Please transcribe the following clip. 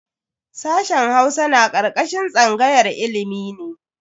Sashen Hausa na karkashin tsangayar ilimi ne.